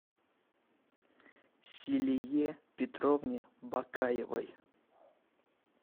зилие петровне бакаевой